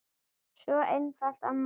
Svo einfalt er málið.